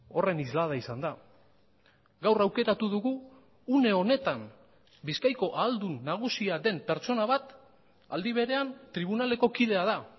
horren islada izan da gaur aukeratu dugu une honetan bizkaiko aldun nagusia den pertsona bat aldi berean tribunaleko kidea da